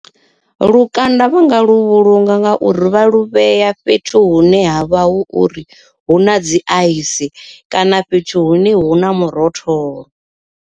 Lukanda vhanga lu vhulunga nga uri vha lu vhea fhethu hune ha vha hu uri hu na dzi ice kana fhethu hune hu na murotholo.